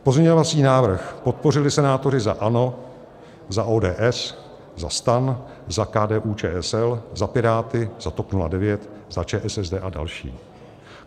Pozměňovací návrh podpořili senátoři za ANO, za ODS, za STAN, za KDU-ČSL, za Piráty, za TOP 09, za ČSSD a další.